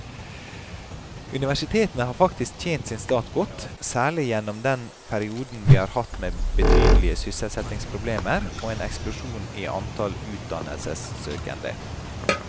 Universitetene har faktisk tjent sin stat godt, særlig gjennom den perioden vi har hatt med betydelige sysselsettingsproblemer og en eksplosjon i antall utdannelsessøkende.